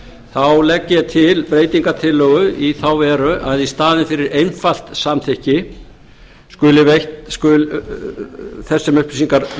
þá legg ég til breytingartillögu í þá veru að í staðinn fyrir einfalt samþykki þess sem þessar upplýsingar